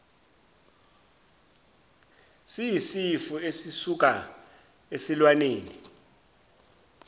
siyisifo esisuka esilwaneni